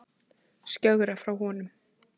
Skjögrar frá honum.